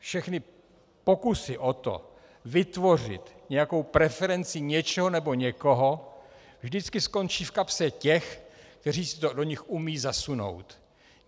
Všechny pokusy o to vytvořit nějakou preferenci něčeho nebo někoho vždycky skončí v kapse těch, kteří si to do nich umějí zasunout.